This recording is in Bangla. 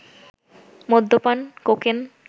মদ্যপান, কোকেন